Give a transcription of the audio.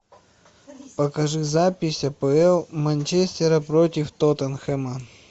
покажи запись апл манчестера против тоттенхэма